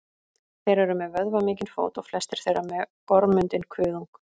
þeir eru með vöðvamikinn fót og flestir þeirra með gormundinn kuðung